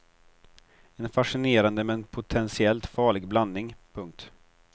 En fascinerande men potentiellt farlig blandning. punkt